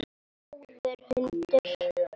Góður hundur.